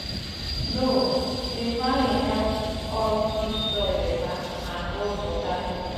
no-till farming help us keep soil better and hold water inside.